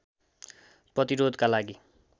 प्रतिरोधको लागि